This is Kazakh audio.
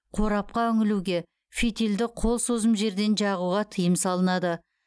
қорапқа үңілуге фитильді қол созым жерден жағуға тыйым салынады